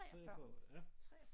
43 år ja